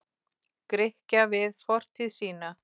Grikkja við fortíð sína.